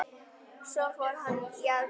Svo fór hann í aðgerð.